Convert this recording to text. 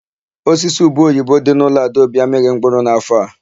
Osisi ubeoyibo dị n'ụlọ Adaobi amịghị mkpụrụ n'áfọ̀ a.